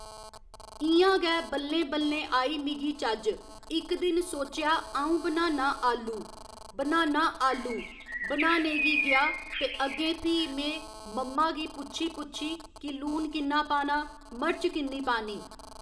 इयां गै बल्लें बल्लें आई मिगी चज्ज इक दिन सोचेआ अ'ऊं बनाना आलू बनाना आलू बनाने गी गेआ ते अग्गें फ्ही में मम्मा गी पुच्छी पुच्छी कि लून किन्ना पाना मर्च किन्नी पानी